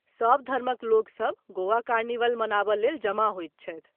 सभ धर्मक लोकसभ गोवा कार्निवल मनाबय लेल जमा होयत छथि।